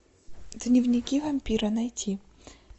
дневники вампира найти